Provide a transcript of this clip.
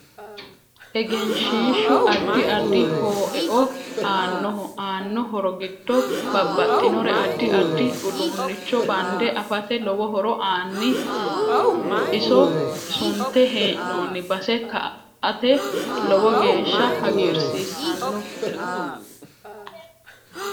Egenshiishu addi addi hooeo aanoho aano horo giddo babaxinore addi addi uduuunicho bande afate lowo horo aann iso sunte heenooni base ka'ate lowo geesha hagiirsiisanno